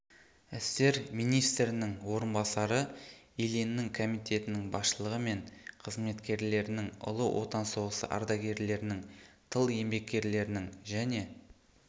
істер министрінің орынбасары ильиннің комитетінің басшылығы мен қызметкерлерінің ұлы отан соғысы ардагерлерінің тыл еңбеккерлерінің және